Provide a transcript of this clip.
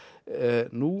nú